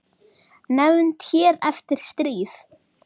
Nefnd hér eftir: Stríð.